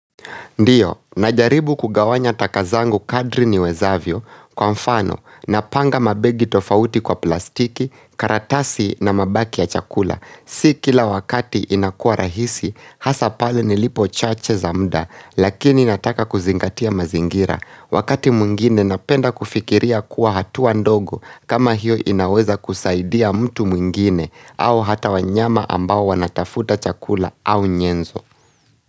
Ndio, najaribu kugawanya takazangu kadri ni wezavyo. Kwa mfano, napanga mabegi tofauti kwa plastiki, karatasi na mabaki ya chakula. Si kila wakati inakua rahisi, hasa pale nilipo chache za mda, lakini nataka kuzingatia mazingira. Wakati mwingine napenda kufikiria kuwa hatua ndogo kama hiyo inaweza kusaidia mtu mwingine au hata wanyama ambao wanatafuta chakula au nyenzo.